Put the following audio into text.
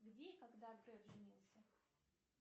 где и когда греф женился